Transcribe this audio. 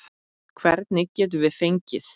Hvern getum við fengið?